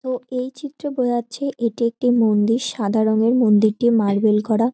ও এই চিত্র বোঝাচ্ছে এটি একটি মন্দির। সাদা রঙের মন্দিরটি মার্বেল করা।